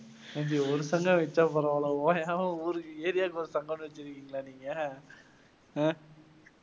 ஏன் ஜி ஒரு சங்கம் வெச்சா பரவாயில்லை ஓயாம ஊருக்கு area வுக்கு ஒரு சங்கம்னு வெச்சருக்கீங்களா நீங்க ஹம்